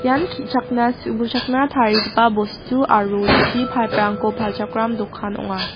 ian ki·chakna su·buchakna tarigipa bostu aro chi paip rangko palchakram dokan ong·a.